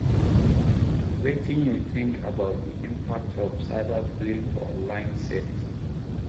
Wetin you think about di impact of cyberbullying for online safety?